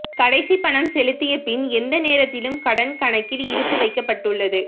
கடைசி பணம் செலுத்திய பின் எந்த நேரத்திலும் கடன் கணக்கில் இருப்பு வைக்கப்பட்டுள்ளது